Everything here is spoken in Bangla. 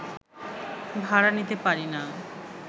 ভাড়া নিতে পারি না